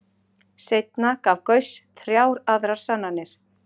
Seinna gaf Gauss þrjár aðrar sannanir.